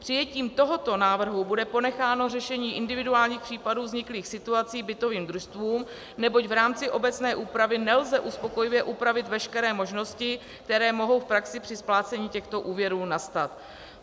Přijetím tohoto návrhu bude ponecháno řešení individuálních případů vzniklých situací bytovým družstvům, neboť v rámci obecné úpravy nelze uspokojivě upravit veškeré možnosti, které mohou v praxi při splácení těchto úvěrů nastat.